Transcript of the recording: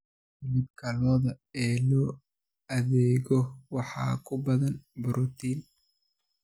Hilibka lo'da ee loo adeego waxaa ku badan borotiin.